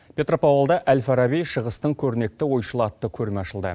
петропавлда әл фараби шығыстың көрнекті ойшылы атты көрме ашылды